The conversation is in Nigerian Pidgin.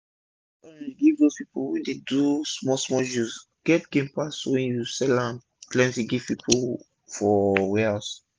to sell orange give dos pipu wey dey do small small juice get gain pass wen u sell am plenti give dos pipu for warehouse